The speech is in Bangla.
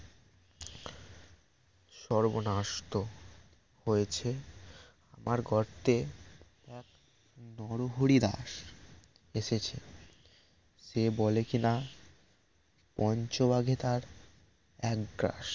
সর্বনাশ তো হয়েছে আমার গর্তে নরহরি দাস এসেছে সে বলে কিনা পঞ্চবাঘে তার এক গ্রাস